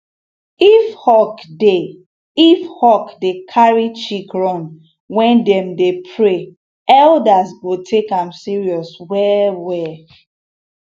if hawk dey if hawk dey carry chick run when dem dey pray elders go take am serious well well